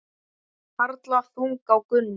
Harla þung á Gunnu.